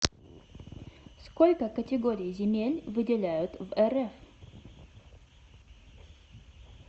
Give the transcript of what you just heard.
сколько категорий земель выделяют в рф